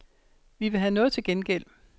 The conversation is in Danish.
Vi vil have noget til gengæld.